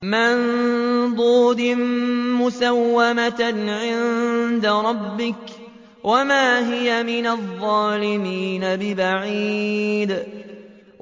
مُّسَوَّمَةً عِندَ رَبِّكَ ۖ وَمَا هِيَ مِنَ الظَّالِمِينَ بِبَعِيدٍ